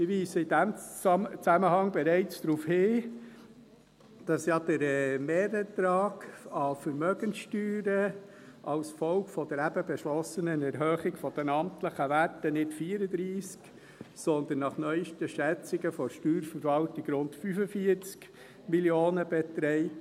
Ich weise in diesem Zusammenhang bereits darauf hin, dass ja der Mehrertrag an Vermögenssteuern als Folge der eben beschlossenen Erhöhung der amtlichen Werte nicht 34, sondern nach neuesten Schätzungen der Steuerverwaltung rund 45 Mio. Franken beträgt;